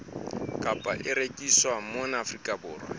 kapa e rekiswang mona afrika